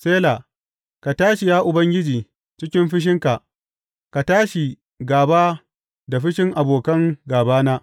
Sela Ka tashi, ya Ubangiji, cikin fushinka; ka tashi gāba da fushin abokan gābana.